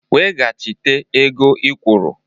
Weghachite ego ị kwụrụ!